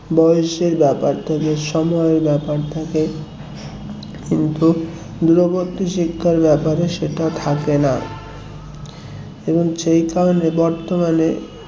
বয়সের ব্যাপার থাকে সময়ের ব্যাপার থাকে কিন্তু দূরবর্তী শিক্ষার ব্যাপারে সেটা থাকে না এবং সেই কারণে বর্তমানে